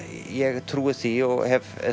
ég trúi því og hef